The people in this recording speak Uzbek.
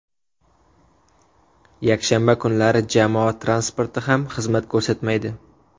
Yakshanba kunlari jamoat transporti ham xizmat ko‘rsatmaydi.